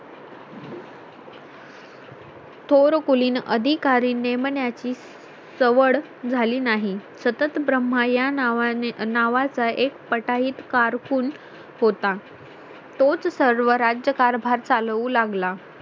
थोर कोली अधिकारी नेमण्या ची सवड झाली नाही सतत ब्रह्म या नावाने नावा चा एक पटाईत कारकून होता तोच सर्व राज्यकारभार चालवू लागला